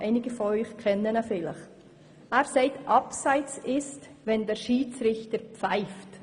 Er sagt, ein Abseits ist es dann, wenn der Schiedsrichter pfeift.